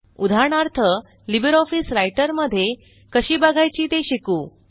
उदाहरणार्थ LibreOffice Writer मध्ये कशी बघायची ते शिकू